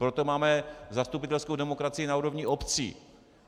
Proto máme zastupitelskou demokracii na úrovni obcí.